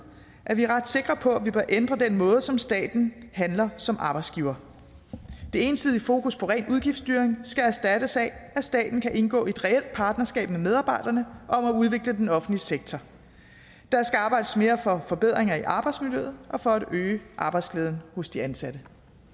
at vi er ret sikre på at vi bør ændre den måde som staten handler som arbejdsgiver det ensidige fokus på ren udgiftsstyring skal erstattes af at staten kan indgå i et reelt partnerskab med medarbejderne om at udvikle den offentlige sektor der skal arbejdes mere for forbedringer i arbejdsmiljøet og for at øge arbejdsglæden hos de ansatte